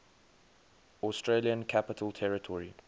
australian capital territory